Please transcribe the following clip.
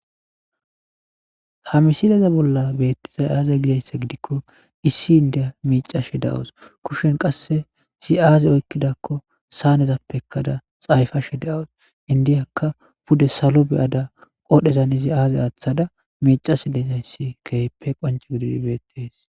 ha misileza bolla beettizay aaze gizayssa gidikko issi indiya miicashe daws kushen qasse si7aaze oykkidakko saanezappekkada xayfashe deawos indiyakka pude salo beyada qodhezan izi aaze aaththada miicase dezayssi kehppe qonce gididi beettees